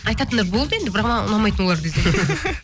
айтатындар болды енді бірақ маған ұнамайтын олар десең